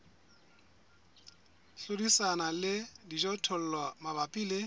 hlodisana le dijothollo mabapi le